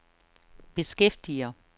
beskæftiger